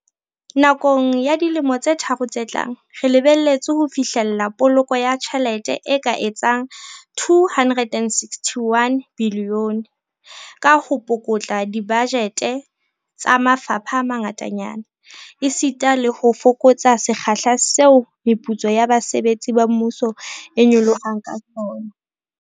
Nakong ya dilemo tse tharo tse tlang, re lebelletse ho fihlella poloko ya tjhelete e ka etsang R261 bilione ka ho pukutla dibajete tsa mafapha a mangatanyana, esita le ho fokotsa sekgahla seo meputso ya basebetsi ba mmuso e nyolohang ka sona.